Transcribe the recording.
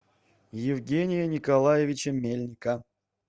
евгения николаевича мельника